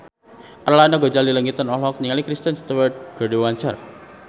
Arlanda Ghazali Langitan olohok ningali Kristen Stewart keur diwawancara